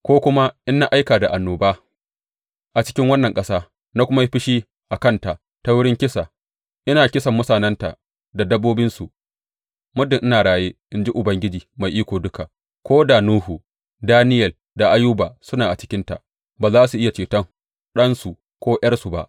Ko kuma in na aika da annoba a cikin wannan ƙasa na kuma yi fushi a kanta ta wurin kisa, ina kisan mutanenta da dabbobinsu, muddin ina raye, in ji Ubangiji Mai Iko Duka, ko da Nuhu, Daniyel da Ayuba suna a cikinta, ba za su iya ceton ɗansu ko ’yarsu ba.